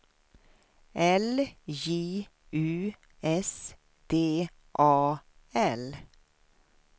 L J U S D A L